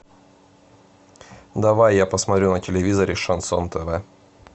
давай я посмотрю на телевизоре шансон тв